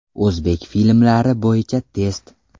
O‘zbek filmlari bo‘yicha test.